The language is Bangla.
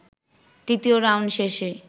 তৃতীয় রাউন্ড শেষে